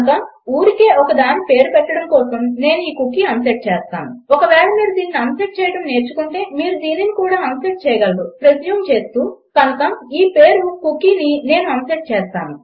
కనుక ఊరికే ఒకదానికి పేరు పెట్టడం కోసం నేను ఈ కుకీ అన్సెట్ చేస్తాను ఒకవేళ మీరు దీనిని అన్సెట్ చేయడం నేర్చుకుంటే మీరు దీనిని కూడా అన్సెట్ చేయగలరని ప్రిస్యూమ్ చేస్తున్నాను కనుక ఈ పేరు కుకీని నేను అన్సెట్ చేస్తాను